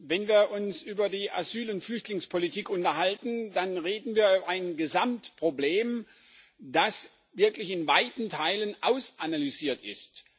Wenn wir uns über die Asyl und Flüchtlingspolitik unterhalten, dann reden wir über ein Gesamtproblem, das wirklich in weiten Teilen ausanalysiert ist.